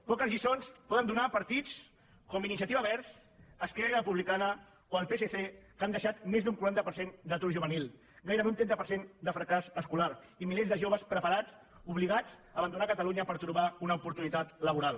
poques lliçons poden donar partits com iniciativa verds esquerra republicana o el psc que han deixat més d’un quaranta per cent d’atur juvenil gairebé un trenta per cent de fracàs escolar i milers de joves preparats obligats a abandonar catalunya per trobar una oportunitat laboral